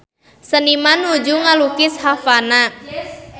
Seniman nuju ngalukis Havana